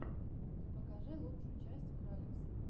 покажи лучшую часть кралекс